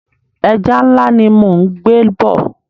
Ẹja ńlá ni mò ń gbé bọ̀.